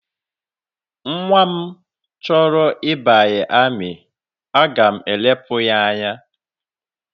Nnwa m ọ bụla chọrọ ịbanye amị, aga m elepụ ya anya